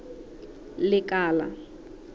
lekala